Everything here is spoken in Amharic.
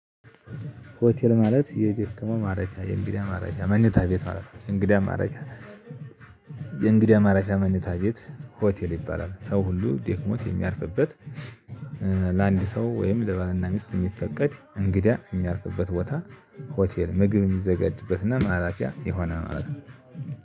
ሆቴል ማለት የደከመ ማረፊያ የእንግዲህ ማረፊያ መኝታ ቤት ማለት ነው እንግዲህ ማረፊያ የእንግዳ አማረፊያ መኝታ ቤት ሆቴል ይባላል ሰው ሁሉ ደክሞት የሚያርፍበት ለአንድ ሰው ወይም ለባልና ሚስት የሚፈቀድ እንግዳ የሚያርፍበት ቦታ ሆቴል ምግብ የሚዘጋጅበትና ማራፊያ የሆነ ማለት ነው።